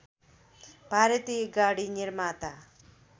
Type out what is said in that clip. भारतीय गाडी निर्माता